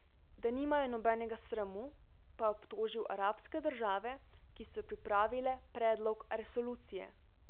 Da nimajo nobenega sramu, pa je obtožil arabske države, ki so pripravile predlog resolucije.